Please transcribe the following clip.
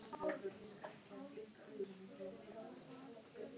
Fram í sturtuklefa og aftur til baka.